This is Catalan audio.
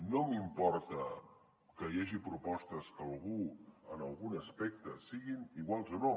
no m’importa que hi hagi propostes que algú en algun aspecte siguin iguals o no